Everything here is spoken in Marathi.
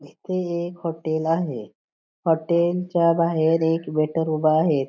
इथ एक हॉटेल आहे हॉटेल च्या बाहेर एक वेटर उभा आहे.